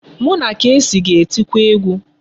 Mụ na Kcee ga-etiko egwu.